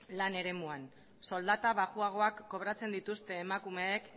lan eremuan soldata baxuagoak kobratzen dituzte emakumeek